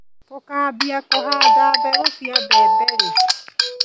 Tũkambia kũhanda mbegũ cia mbembe rĩ.